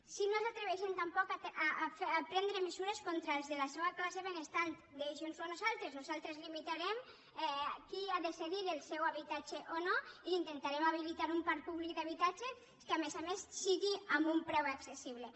si no s’atreveixen tampoc a prendre mesures contra els de la seua classe benestant deixinnosho a nosaltres nosaltres limitarem qui ha de cedir el seu habitatge o no i intentarem habilitar un parc públic d’habitatges que a més a més sigui amb un preu accessible